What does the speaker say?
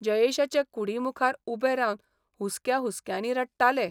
जयेशाचे कुडीमुखार उबे रावन हुस्क्या हुस्क्यांनी रडटाले.